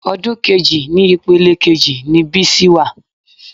Odun kejì ni ìpele kejì ni Bísí wà